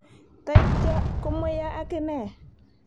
Toityo komweiyo ak ine